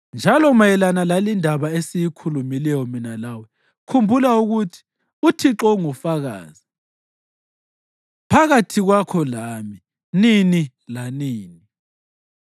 Njalo mayelana lalindaba esiyikhulumileyo mina lawe, khumbula ukuthi uThixo ungufakazi phakathi kwakho lami nini lanini.”